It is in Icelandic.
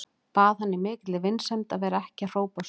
Bað hann í mikilli vinsemd að vera ekki að hrópa svona.